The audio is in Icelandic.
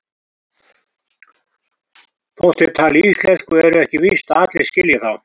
Þótt þeir tali íslensku er ekki víst að allir skilji þá.